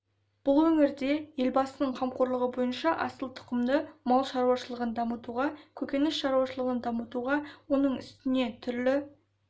бұл өңірде елбасының қамқорлығы бойынша асыл тұқымды мал шаруашылығын дамытуға көкөніс шаруашылығын дамытуға оның үстіне түрлі